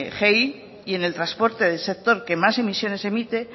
de gei